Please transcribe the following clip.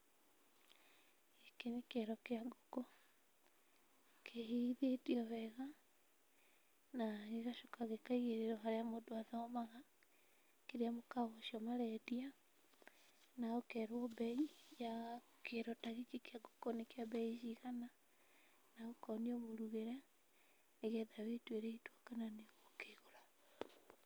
Gĩkĩ nĩ kĩero kĩa ngũkũ, kĩhĩithĩtio wega na gĩgacoka gĩkaigĩrĩrwo harĩa mũndũ athomaga kĩrĩa mũkawa ũcio marendia na ũkerwo mbei yaa kĩero ta gĩkĩ kĩa ngũkũ nĩ kĩa mbei ta cigana na ũkonio mũrugĩre nĩgetha wĩtuĩre itua kana nĩũgũkĩgũra.